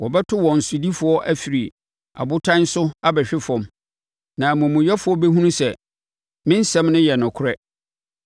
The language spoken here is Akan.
Wɔbɛto wɔn sodifoɔ afiri abotan so abɛhwe fam; na amumuyɛfoɔ bɛhunu sɛ me nsɛm no yɛ nokorɛ.